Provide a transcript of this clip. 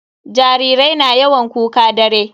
Jarirai na yawan kuka dare.